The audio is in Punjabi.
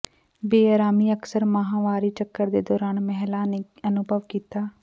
ਬੇਅਰਾਮੀ ਅਕਸਰ ਮਾਹਵਾਰੀ ਚੱਕਰ ਦੇ ਦੌਰਾਨ ਮਹਿਲਾ ਨੇ ਅਨੁਭਵ ਕੀਤਾ